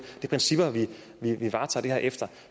de principper vi varetager det her efter